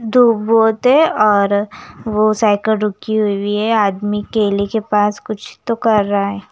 धूप बहुत है और वो साइकिल रुकी हुई है आदमी केले के पास कुछ तो कर रहा है।